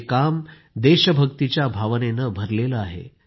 हे काम देशभक्तिच्या भावनेनं भरलेलं आहे